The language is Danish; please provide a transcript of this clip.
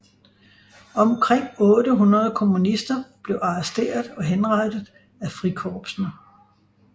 Omkring 800 kommunister blev arresteret og henrettet af frikorpsene